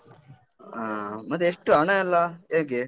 ಆ, ಮತ್ತೆ ಎಷ್ಟು ಹಣ ಎಲ್ಲ ಹೇಗೆ?